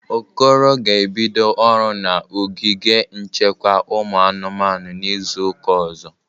Okoro ga-ebido ọrụ na ogige nchekwa ụmụ anụmanụ n'izụ ụka ọzọ.